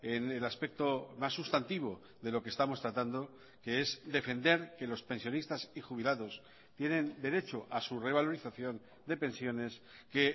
en el aspecto más sustantivo de lo que estamos tratando que es defender que los pensionistas y jubilados tienen derecho a su revalorización de pensiones que